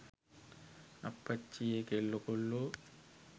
අප්පච්චියේ කෙල්ලො කොල්ලො